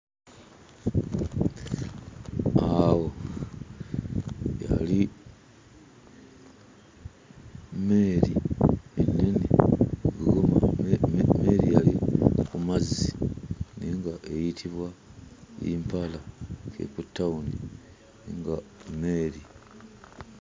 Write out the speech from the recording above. Awo yali mmeeri ennene, mmeeri yali ku mazzi naye ng'eyitibwa mpala. Ffe ku tawuni nga mmeeri.